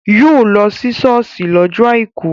Yóò lọ sí ṣọ́ọ̀ṣì lọ́jọ́ àìkú